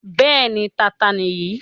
Bẹ́ẹ̀ni, Tata nìyí.